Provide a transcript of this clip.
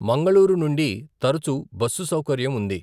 మంగళూరు నుండి తరచు బస్సు సౌకర్యం ఉంది.